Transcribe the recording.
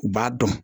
U b'a dɔn